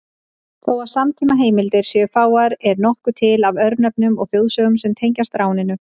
Þó að samtímaheimildir séu fáar er nokkuð til af örnefnum og þjóðsögum sem tengjast ráninu.